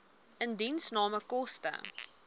indiensname koste